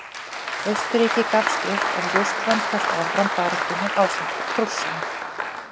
Austurríki gafst upp en Rússland hélt áfram baráttunni ásamt Prússum.